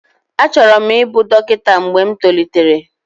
Achọrọ m ịbụ dọkịta mgbe m tolitere